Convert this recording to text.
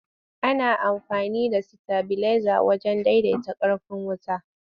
Ana amfani da sitabileza wajen daidaita ƙarfin wuta.